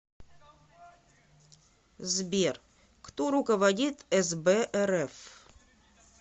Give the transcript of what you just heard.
сбер кто руководит сб рф